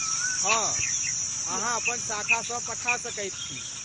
हँ, अहाँ अपन शाखासँ पठा सकैत छी।